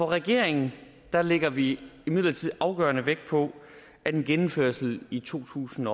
regeringen lægger vi imidlertid afgørende vægt på at en genindførelse i to tusind